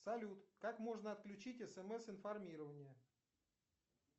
салют как можно отключить смс информирование